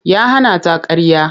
Ya hana ta ƙarya.